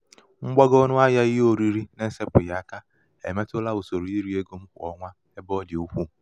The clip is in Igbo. mgbago ọnụ ahịā ihe oriri na-esēpụ̀ghị̀ aka èmetụla ụsòrò irī ego m kwà ọnwa ebe ọ dị̀ ukwuu.